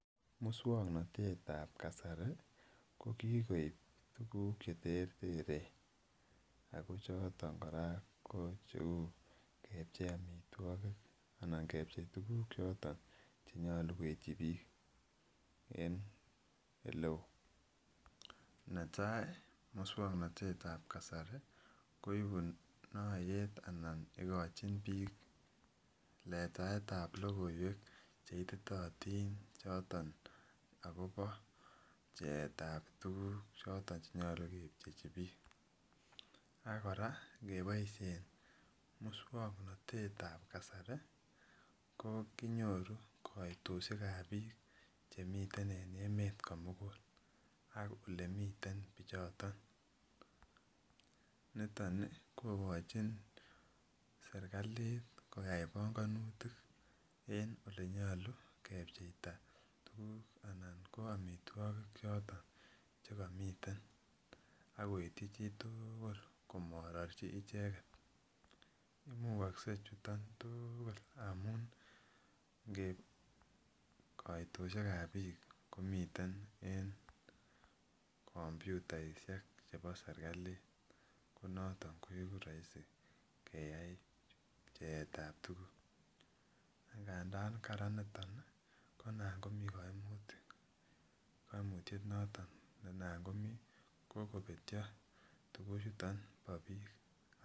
Muswong'notet ab kasari ko kikoib tuguk cheterteren, ako choton kora ko cheu kepchei amituagik anan kepchei tuguk choton chenyolu koityi biik en eleo, netai ko muswong'notet ab kasari koibu noyet anan igijin biik letaet ab logoiwek cheititotin choton agobo pcheet ab tuguk choton chenyolu kepchechi biik, ak kora ngeboisien muswong'notet ab kasari ko kinyoru koitosyek ab biik chemiten en emeet komugul ak olemiten bichoton, niton kogochin serkalit koyai pongonutik en olenyolu kepcheita tuguk anan ko omitwogik choton chekomiten ak koitji chitugul komarorchi icheget, imugokse chuton tugul amun koitosiek ab biik komiten en komputaisiek chebo serkalit, ko noton koigu roisi keyai pcheet ab tuguk, ak ng'andan karan niton ko inan komi koimutik, koimutyet noton ne inan komi ko kobetyi tuguchuton bo biik.